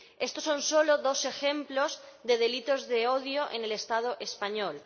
Estos son solo dos ejemplos de delitos de odio en el Estado español.